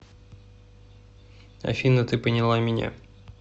афина ты поняла меня